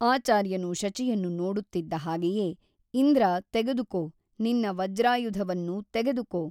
ಆಚಾರ್ಯನು ಶಚಿಯನ್ನು ನೋಡುತ್ತಿದ್ದ ಹಾಗೆಯೇ ಇಂದ್ರ ತೆಗೆದುಕೋ ನಿನ್ನ ವಜ್ರಾಯುಧವನ್ನು ತೆಗೆದುಕೋ...